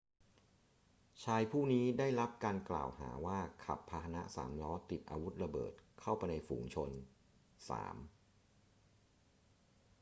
ชายผู้นี้ได้รับการกล่าวหาว่าขับพาหนะสามล้อติดอาวุธระเบิดเข้าไปในฝูงชน 3